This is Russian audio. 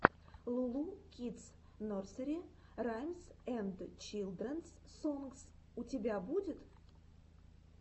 лу лу кидс нерсери раймс энд чилдренс сонгс у тебя будет